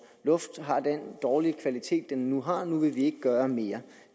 luft har den dårlige kvalitet den nu har nu vil vi ikke gøre mere